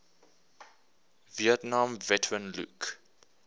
vietnam veteran luke